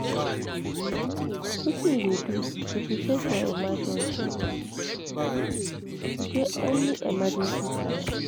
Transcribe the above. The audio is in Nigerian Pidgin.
Wetin you dey do to prepare for emergencies, you get any emergency plans?